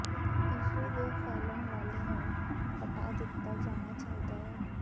tissue ਦੇ ਫੈਲਣ ਵਾਲੇ ਨੂੰ ਹਟਾ ਦਿੱਤਾ ਜਾਣਾ ਚਾਹੀਦਾ ਹੈ